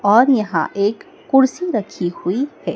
और यहां एक कुर्सी रखी हुई है।